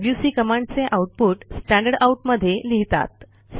WC कमांडचे output standard out मध्ये लिहितात